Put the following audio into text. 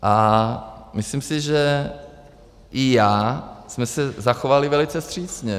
A myslím si, že i já jsem se zachoval velice vstřícně.